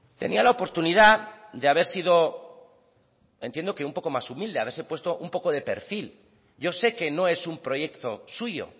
tenía la oportunidad de haber sido entiendo que un poco más humilde haberse puesto un poco de perfil yo sé que no es un proyecto suyo